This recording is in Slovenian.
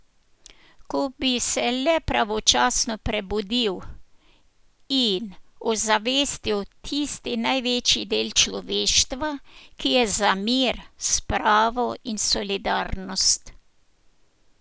Ko bi se le pravočasno prebudil in ozavestil tisti največji del človeštva, ki je za mir, spravo in solidarnost.